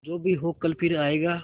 जो भी हो कल फिर आएगा